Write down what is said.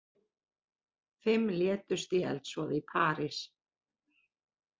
Fimm létust í eldsvoða í París